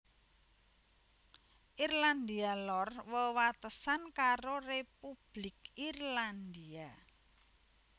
Irlandia Lor wewatesan karo Republik Irlandia